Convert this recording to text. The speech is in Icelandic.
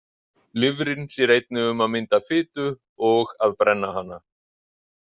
Lifrin sér einnig um að mynda fitu og að brenna hana.